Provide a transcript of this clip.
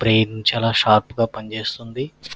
Brain చాలా షార్ప్గా పని చేస్తుంది.